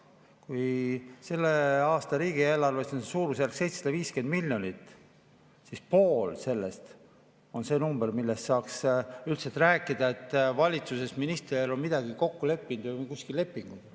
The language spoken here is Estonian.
Kui selle aasta riigieelarves on suurusjärgus 750 miljonit, siis pool sellest on see number, mille puhul saaks üldse rääkida, et valitsuses minister on midagi kokku leppinud või et kuskil on lepingud.